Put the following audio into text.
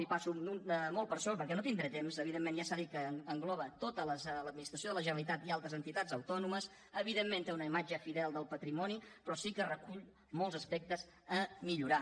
hi passo molt per sobre perquè no tindré temps evidentment ja s’ha dit que engloba tota l’administració de la generalitat i altres entitats autònomes evidentment té una imatge fidel del patrimoni però sí que recull molts aspectes a millorar